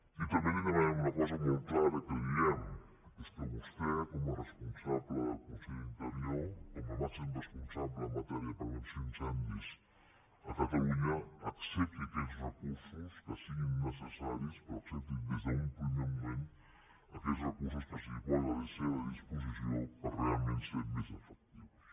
i també li demanarem una cosa molt clara que li diem i és que vostè com a responsable de la conselleria d’interior com a màxim responsable en matèria de prevenció d’incendis a catalunya accepti aquests recursos que siguin necessaris però accepti des d’un primer moment aquests recursos que es posen a la seva disposició per realment ser més efectius